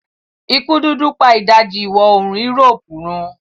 ikú dúdú pa ìdajì iwọ oorun Europe run.